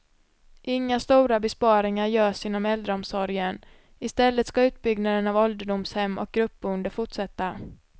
Inga stora besparingar görs inom äldreomsorgen, istället ska utbyggnaden av ålderdomshem och gruppboende fortsätta.